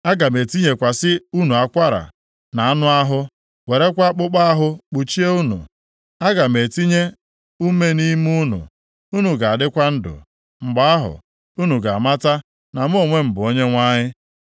Aga m etinyekwasị unu akwara, na anụ ahụ, werekwa akpụkpọ ahụ kpuchie unu. Aga m etinye ume nʼime unu, unu ga-adịkwa ndụ. Mgbe ahụ, unu ga-amata na mụ onwe m bụ Onyenwe anyị.’ ”